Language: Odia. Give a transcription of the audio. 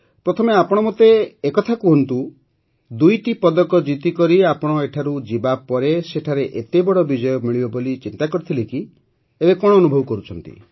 ପ୍ରଥମେ ଆପଣ ମୋତେ ଏ କଥା କହନ୍ତୁ ଯେ ଦୁଇଟି ପଦକ ଜିତିକରି ଆପଣ ଏଠାରୁ ଯିବାପରେ ସେଠାରେ ଏତେ ବଡ଼ ବିଜୟ ମିଳିବ ବୋଲି ଚିନ୍ତା କରିଥିଲେ କି ଏବେ କଣ ଅନୁଭବ କରୁଛନ୍ତି